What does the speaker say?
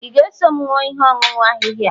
ị ga-eso m ṅụọ ihe ọṅụṅụ ahịhịa a?